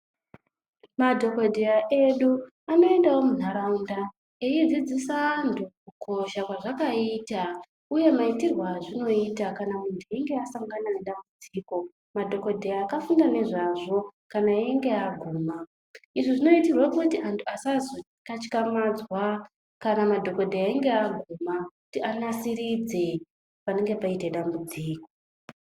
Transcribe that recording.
Madhokodheya edu anoendawo muntaraunda eidzidzise antu kukosha kwazvakaita uye maitirwe azvinoita kana muntu einge asangana nedambudziko madhokodheya akafunda ngezvazvo kana einge aguma izvi zvinoitirwe kuti antu asazokatyamadzwa kana madhogodheya einge aguma kuti anasiridzwe panenge paita dambudziko.